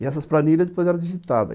E essas planilhas depois eram digitadas.